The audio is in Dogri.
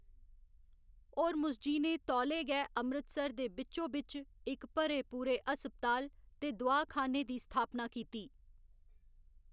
होर्मुसजी ने तौले गै अमृतसर दे बिच्चो बिच्च इक भरे पूरे हस्पताल ते दोआख़ाने दी स्थापना कीती।